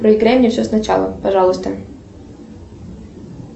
проиграй мне все с начала пожалуйста